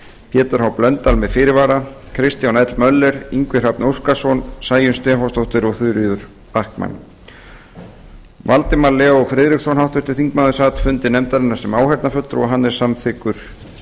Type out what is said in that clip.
pétur h blöndal með fyrirvara kristján l möller ingvi hrafn óskarsson sæunn stefánsdóttir og þuríður backman háttvirtur þingmaður valdimar l friðriksson sat fundi nefndarinnar sem áheyrnarfulltrúi og er samþykkur